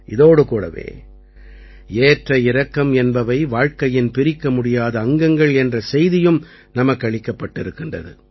இதோடு கூடவே ஏற்ற இறக்கம் என்பவை வாழ்க்கையின் பிரிக்கமுடியாத அங்கங்கள் என்ற செய்தியும் நமக்களிக்கப்பட்டிருக்கிறது